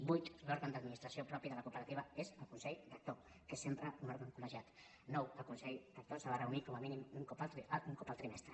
vuit l’òrgan d’administració pròpia de la cooperativa és el consell rector que és sempre un òrgan colnou el consell rector s’ha de reunir com a mínim un cop el trimestre